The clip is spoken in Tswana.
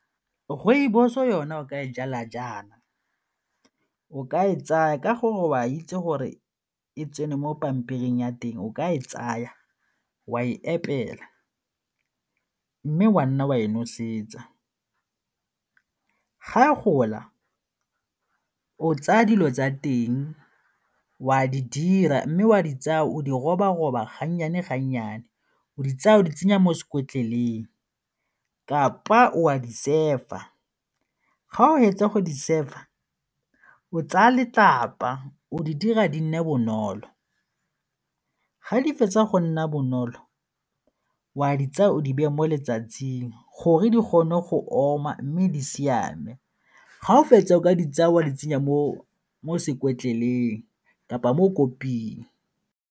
Rooibos-o yona o ka e jala jaana, o ka e tsaya ka gore o a itse gore e tsene mo pampiring ya teng o ka e tsaya wa e epela mme wa nna wa e nosetsa. Ga a gola o tsaya dilo tsa teng o a di dira mme o a di tsaya, o di roba-roba ga nnyane ga nnyane o di tsaya o di tsenya mo sekotloleng kapa o a di sefa, ga o fetsa go di sefa, o tsaya letlapa o di dira di nne bonolo. Ga di fetsa go nna bonolo, o a di tsaya, o di beya mo letsatsing gore di kgone go oma mme di siame ga o fetsa o ka di tsaya wa di tsenya mo sekotleleng kapa mo koping.